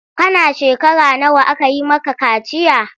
Kana shekara nawa aka yi maka kaciya?